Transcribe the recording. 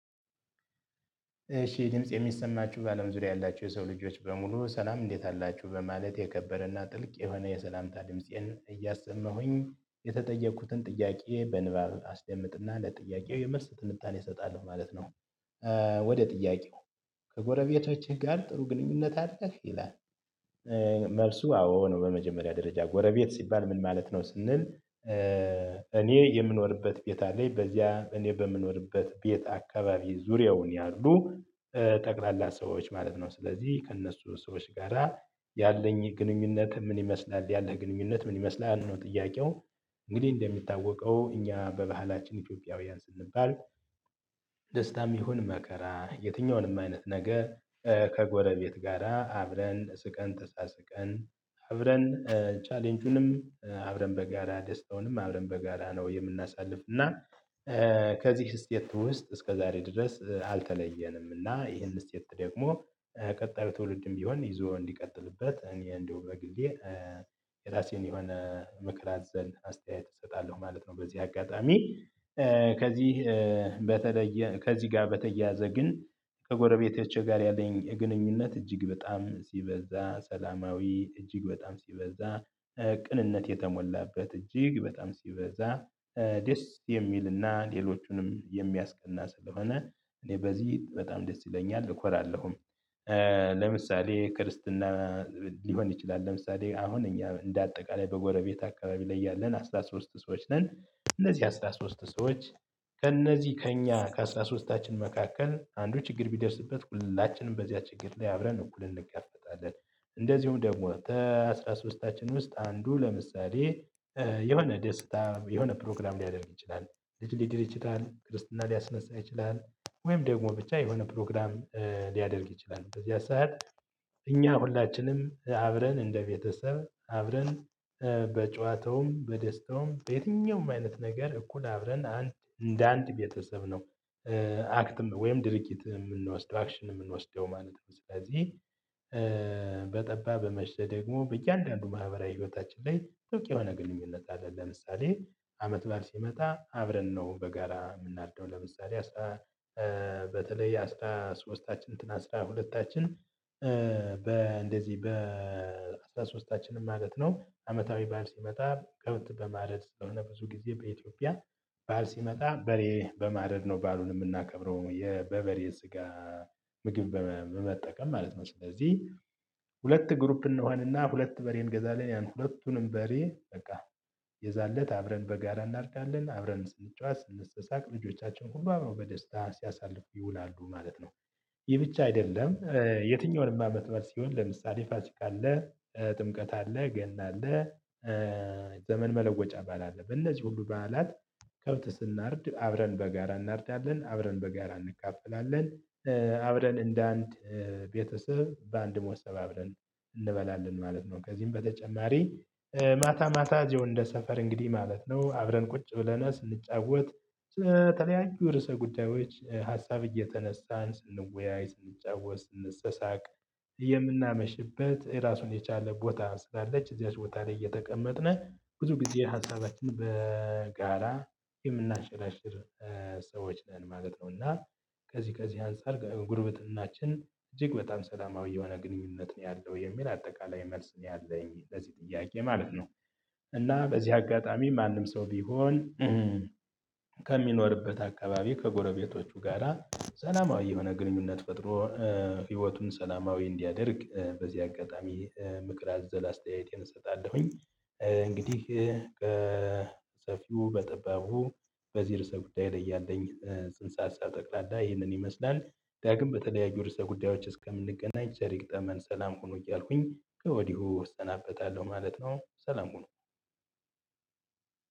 እሺ ድምፄ የሚሰማችሁ በአለም ዙሪያ ያላችሁ የሰው ልጆች በሙሉ ሰላም እንዴት አላችሁ በማለት የከበረና ጥልቅ የሆነ የሰላምታ ድምፄን እያሰማሁኝ የተጠየኩትን ጥያቄ በንባብ አስደምጥና ለጥያቄው የመልስ ትንታኔ እሰጣለሁ ማለት ነው። ወደ ጥያቄው? ከጎረቤቶችህ ጋር ጥሩ ግንኙነት አለህ ይላል? መልሱ አዎ ነው። በመጀመሪያ ደረጃ ጎረቤት ሲባል ምን ማለት ነው? ስንል እኔ የምኖርበት ቤት አለኝ በዚያ እኔ በምኖርበት ቤት አካባቢ ዙሪያውን ያሉ ጠቅላላ ሰዎች ማለት ነው። ስለዚህ ከእነሱ ሰዎች ጋራ ያለኝ ግንኙነት ምን ይመስላል ያለህ ግንኙነት ምን ይመስላል ነው ጥያቄው። እንግዲህ እንደሚታወቀው እኛ በባህላችን ኢትዮጵያውያን ስንባል። ደስታም ይሁን መከራ የትኛውንም አይነት ነገር ከጎረቤት ጋራ አብረን ስቀን ተሳስቀን አብረን ቻሌንጁንም አብረን በጋራ ደስታውንም አብረን በጋራ ነው የምናሳልፍ እና ከዚህ ስቴት ውስጥ እስከ ዛሬ ድረስ አልተለየንም። እና ይሄን ስቴት ደግሞ ቀጣይ ትውልድም ቢሆን ይዞ እንዲቀጥልበት እኔ እንደው በግሌ የራሴን የሆነ ምክር አዘል አስተያየት እሰጣለሁ ማለት ነው። በዚህ አጋጣሚ። ከዚህ በተለየ ከዚህ ጋር በተያያዘ ግን ከጎረቤቶቼ ጋር ያለኝ ግንኙነት እጅግ በጣም ሲበዛ ሰላማዊ እጅግ በጣም ሲበዛ ቅንነት የተሞላበት እጅግ በጣም ሲበዛ ደስ የሚልና ሌሎቹንም የሚያስቀና ስለሆነ። እኔ በዚህ በጣም ደስ ይለኛል እኮራለሁም። ለምሳሌ ክርስትና ሊሆን ይችላል ለምሳሌ አሁን እኛ እንደ አጠቃላይ በጎረቤት አካባቢ ላይ ያለን አስራ ሶስት ሰዎች ነን። እነዚህ አስራ ሶስት ሰዎች ከእነዚህ ከእኛ ከአሥራ ሦስትታችን መካከል አንዱ ችግር ቢደርስበት ሁላችንም በዚያ ችግር ላይ አብረን እኩልን እንጋፈጣለን። እንደዚሁም ደግሞ አስራ ሶስታችን ውስጥ አንዱ ለምሳሌ የሆነ ደስታ የሆነ ፕሮግራም ሊያደርግ ይችላል ልጅ ሊድር ይችላል ክርስትና ሊያስነሳ ይችላል ወይም ደግሞ ብቻ የሆነ ፕሮግራም ሊያደርግ ይችላል በዚያ ሰዓት እኛ ሁላችንም አብረን እንደ ቤተሰብ አብረን በጨዋታውም በደስታውም በየትኛውም አይነት ነገር እኩል አብረን አንድ እንደ አንድ ቤተሰብ ነው። አክትም ወይም ድርጊት የምንወስደው አክሽን የምንወስደው ማለት ነው። ስለዚህ በጠባ በመሸ ደግሞ በእያንዳንዱ ማህበራዊ ህይወታችን ላይ ጥብቅ የሆነ ግንኙነት አለ። ለምሳሌ አመት በዓል ሲመጣ አብረን ነው በጋራ የምናርደው ለምሳሌ። በተለይ አስራ ሶስታችን እንትን አስራ ሁለታችን በ እንደዚህ በ አስራ ሶስታችንም ማለት ነው። አመታዊ በዓል ሲመጣ ከብት በማረድ ስለሆነ ብዙ ጊዜ በኢትዮጵያ በዓል ሲመጣ በሬ በማረድ ነው በዓሉን የምናከብረው የበበሬ ስጋ ምግብ በመጠቀም ማለት ነው። ስለዚህ ሁለት ግሩፕ እንሆንና ሁለት በሬ እንገዛለን ያን ሁለቱንም በሬ በቃ የዛንለት አብረን በጋራ እናርዳለን አብረን ስንጫወት ስንሳሳቅ ልጆቻችን ሁሉ አብረው በደስታ ሲያሳልፉ ይውላሉ ማለት ነው። ይህ ብቻ አይደለም የትኛውንም አመት በዓል ሲሆን ለምሳሌ ፋሲካ አለ ጥምቀት አለ ገና አለ። ዘመን መለወጫ ባዓል አለ በእነዚህ ሁሉ በዓላት ከብት ስናርድ አብረን በጋራ እናርዳለን አብረን በጋራ እንካፈላለን። አብረን እንደ አንድ ቤተሰብ በአንድ ሞሰብ አብረን እንበላለን ማለት ነው። ከዚህም በተጨማሪ። ማታ ማታ እዚሁ እንደ ሰፈር እንግዲህ ማለት ነው አብረን ቁጭ ብለን ስንጫወት በተለያዩ ርዕሰ ጉዳዮች ሀሳብ እየተነሳን ስንወያይ ስንጫወት ስንሰሳቅ የምናመሽበት ራሱን የቻለ ቦታ ስላለች እዚያች ቦታ ላይ እየተቀመጥነ ብዙ ጊዜ ሀሳባችን በጋራ የምናንሽራሽር ሰዎች ነን ማለት ነው። እና ከዚህ ከዚህ አንፃር ጉርብትናችን እጅግ በጣም ሰላማዊ የሆነ ግንኙነት ነው ያለው የሚል አጠቃላይ መልስ ነው ያለኝ ለዚህ ጥያቄ ማለት ነው። እና በዚህ አጋጣሚ ማንም ሰው ቢሆን ከሚኖርበት አካባቢ ከጎረቤቶቹ ጋራ ሰላማዊ የሆነ ግንኙነት ፈጥሮ ህይወቱን ሰላማዊ እንዲያደርግ በዚህ አጋጣሚ ምክር አዘል አስተያየቴን እሰጣለሁኝ። እንግዲህ ከሰፊው በጠባቡ በዚህ ርዕሰ ጉዳይ ላይ ያለኝ ጽንሰ ሀሳብ በጠቅላላ ይህንን ይመስላል። ዳግም በተለያዩ ርዕሰ ጉዳዮች እስከምንገናኝ ቸር ይግጠመን ሰላም ሁኑ እያልኩኝ ከወዲሁ እሰናበታለሁ ማለት ነው። ሰላም ሁኑ።